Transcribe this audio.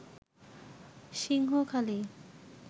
Singhakhali